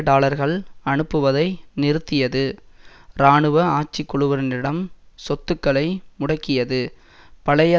டாலர்கள் அனுப்புவதை நிறுத்தியது இராணுவ ஆட்சிக்குழுவினரிடம் சொத்துக்களை முடக்கியது பழைய